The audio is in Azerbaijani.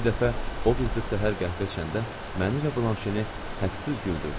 Bir dəfə o bizdə səhər qəhvə içəndə məni və Blanşeni hədsiz güldürdü.